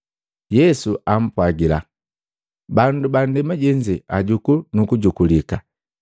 Yesu ampwagila, “Bandu ba ndema jenze ajuku nu kujukulika,